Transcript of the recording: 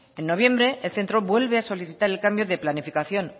en noviembre el centro vuelve a solicitar el cambio de planificación